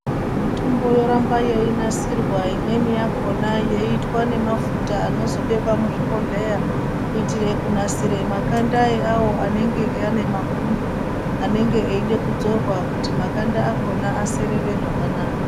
Mitombo yoramba yeinasirwa imweni yakhona yeiitwa nemafuta anozobekwa muzvibhodhleya kuitire kunasire makanda eawo anenge ane mapundu anenge eide kudzorwa kuti makanda akhona aserere zvakanaka.